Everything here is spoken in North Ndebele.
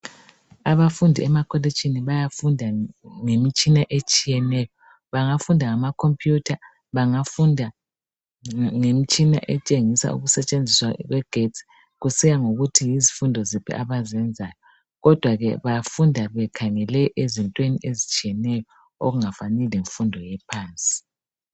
Abafundi emakolitshini bayafunda ngemitshina etshiyeneyo. Bangafunda ngamacomputer. Bangafunda ngemitshina, etshengisa ukusetshenziswa kwegetsi. Kusiya ngokuthi yizifundo ziphi abazenzayo, kodwa ke bafunda bekhangele kuzinto ezinengi ezitshiyeneyo. Okungafani, lemfundo ephansi.